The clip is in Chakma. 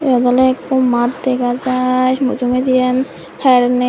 yot awle ekko mat degajai mujugedi an her nei.